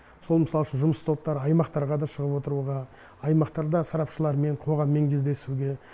сол мысал үшін жұмыс топтары аймақтарға да шығып отыруға аймақтарда сарапшылармен қоғаммен кездесуге